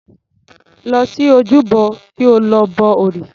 Lọ sí ojúbọ kí o lọ bọ òrìṣà.